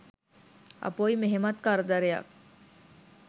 අපොයි මෙහෙමත් කරදරයක් !